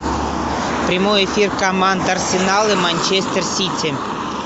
прямой эфир команд арсенал и манчестер сити